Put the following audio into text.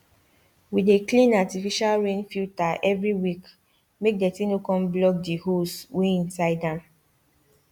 we dey clean artificial rain filter eveyweekmake dirty no con block th holes wey inside am